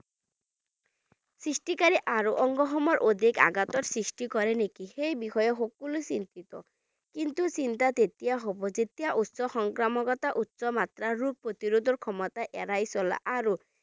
সৃষ্টিকাৰী আৰু অংগসমূহত অধিক আঘাতৰ সৃষ্টি কৰে নেকি সেই বিষয়ে সকলো চিন্তিত কিন্তু চিন্তা তেতিয়া হ'ব যেতিয়া উচ্চ সংক্ৰমণ উচ্চ মাত্ৰা ৰোগ প্ৰতিৰোধ ৰ ক্ষমতা এৰাই চলা আৰু